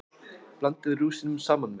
Blandið rúsínunum saman við.